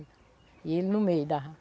E ele no meio da